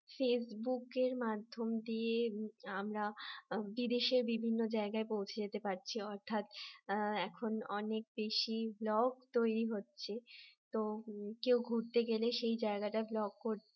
ফেসবুকের মাধ্যম দিয়ে আমরা বিদেশের বিভিন্ন জায়গায় পৌঁছে যেতে পারছি অর্থাৎ এখন অনেক বেশি vlog তৈরি হচ্ছে তো কেউ ঘুরতে গেলে সেই জায়গাটা vlog করে